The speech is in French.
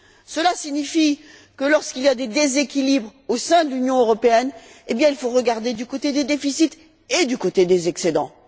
Cela signifie que, lorsqu'il y a des déséquilibres au sein de l'Union européenne, il faut regarder du côté des déficits et du côté des excédents.